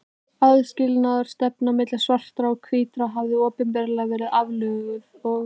Aðskilnaðarstefnan milli svartra og hvítra hafði opinberlega verið aflögð og